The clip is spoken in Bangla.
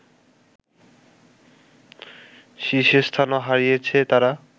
শীর্ষস্থানও হারিয়েছে তারা